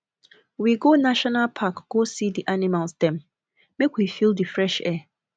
we go national park go see di animals dem make we feel di fresh air